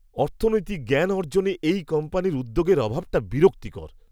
অর্থনৈতিক জ্ঞান অর্জনে এই কোম্পানির উদ্যোগের অভাবটা বিরক্তিকর।